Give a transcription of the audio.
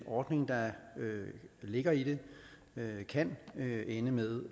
ordning der ligger i det kan ende med